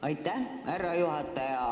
Austatud härra juhataja!